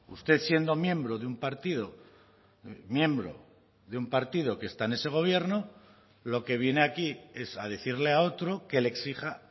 usted siendo miembro de un partido miembro de un partido que está en ese gobierno lo que viene aquí es a decirle a otro que le exija